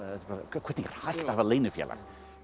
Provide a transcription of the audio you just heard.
hvernig er hægt að hafa leynifélag